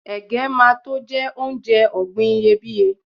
ẹgẹ ma to je onje ògbìn iyebiye